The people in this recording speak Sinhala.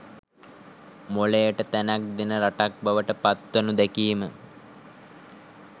මොළයට තැනක් දෙන රටක් බවට පත්වනු දැකීම